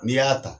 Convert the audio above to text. N'i y'a ta